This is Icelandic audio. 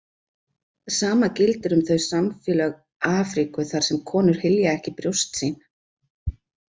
Sama gildir um þau samfélög Afríku þar sem konur hylja ekki brjóst sín.